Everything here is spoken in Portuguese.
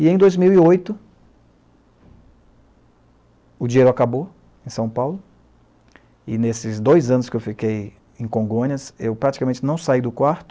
E em dois mil e oito, o dinheiro acabou em São Paulo, e nesses dois anos que eu fiquei em Congonhas, eu praticamente não saí do quarto,